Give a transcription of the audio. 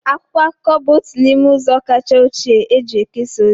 Akwụkwọ akụkọ bụ otu n'ime ụzọ kacha ochie e si ekesa ozi.